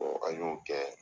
an y'o kɛ